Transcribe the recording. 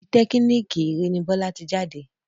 Politẹ́kínìkì Iree ni Bọ́lá ti jáde